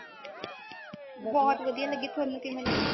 ਬਹੁਤ ਵਧੀਆ ਲੱਗੀ ਤੁਹਾਨੂੰ ਕਿਵੇਂ ਲੱਗੀ